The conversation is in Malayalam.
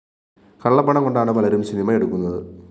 കള്ളപ്പണം കൊണ്ടാണ് പലരും സിനിമയെടുക്കുന്നത്